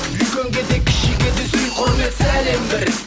үлкенге де кішіге де сый құрмет сәлем бір